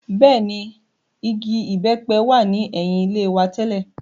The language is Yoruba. Bẹ́ẹ̀ ni, igi ìbẹ́pẹ wà ní ẹ̀yìn ilé wa tẹ́lẹ̀.